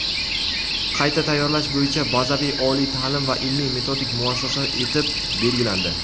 qayta tayyorlash bo‘yicha bazaviy oliy taʼlim va ilmiy-metodik muassasa etib belgilandi.